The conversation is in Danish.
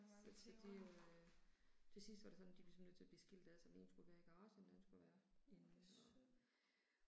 Så så de øh. Til sidst var det sådan de var simpelthen nødt til at blive skilt ad så den ene skulle være i garagen, den anden skulle være inde og